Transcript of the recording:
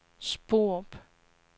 Sporup